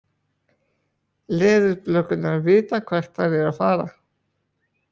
Leðurblökurnar vita hvert þær eru að fara.